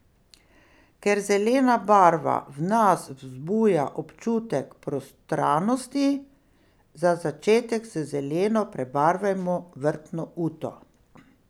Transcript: Ker zelena barva v nas vzbuja občutek prostranosti, za začetek z zeleno prebarvajmo vrtno uto.